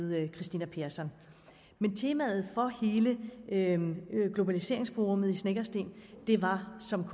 ved kristina persson men temaet for hele globaliseringsforummet i snekkersten var som